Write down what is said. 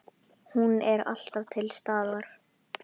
Hún var alltaf til staðar.